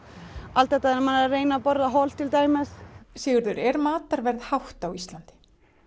allt þetta að reyna að borða hollt til dæmis Sigurður er matarverð hátt á Íslandi